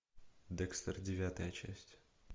декстер девятая часть